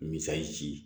Misi